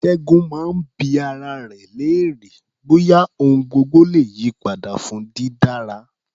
Ṣẹ́gun máa ń bi ara rẹ̀ léèrè bóyá ohun gbogbo le yí padà fún dídára.